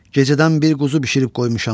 Gecədən bir quzu bişirib qoymuşam.